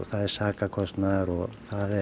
það er sakarkostnaður og